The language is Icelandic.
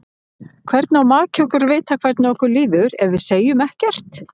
Hvernig á maki okkar að vita hvernig okkur líður ef við segjum ekkert?